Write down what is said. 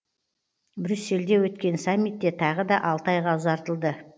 брюссельде өткен саммитте тағы да алты айға ұзартылды